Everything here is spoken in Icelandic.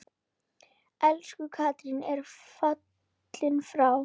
Elsku Katrín er fallin frá.